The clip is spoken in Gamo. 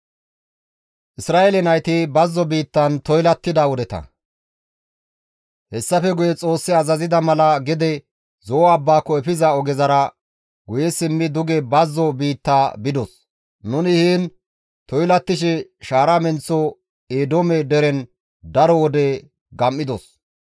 Hessafe guye Xoossi azazida mala gede Zo7o abbaako efiza ogezara guye simmi duge bazzo biitta bidos; nuni heen toylattishe shaara menththo Eedoome deren daro wode gam7idos.